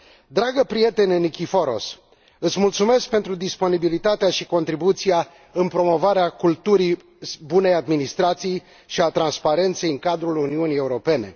Dragă prietene Nikiforos, îți mulțumesc pentru disponibilitatea și contribuția în promovarea culturii bunei administrații și a transparenței în cadrul Uniunii Europene.